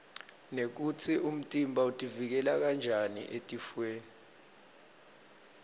nekutsi umtimba utiuikela njani etifwoni